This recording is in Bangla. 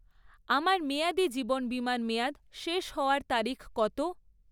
আমার মেয়াদি জীবন বিমার মেয়াদ শেষ হওয়ার তারিখ কত?